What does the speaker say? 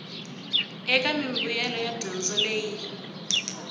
eka mimbuyelo ya dyondzo leyi